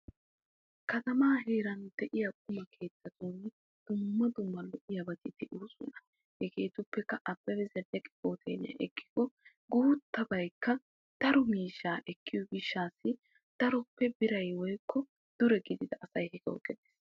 Katama heeran de'iya qumma keettatun darobatti de'osonna leemisuwan Abebe zeleke hooteliyan guuttabay daro miishsha ekkees.